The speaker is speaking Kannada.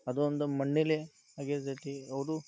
ಅದು ಒಂದು ಮಣ್ಣಿಲಿ ಅಗೆಯುದಿರಲಿ ಅವ್ರು--